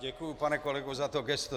Děkuju, pane kolego, za to gesto.